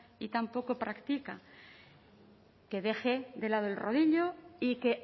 y tan poco practica que deje de lado el rodillo y que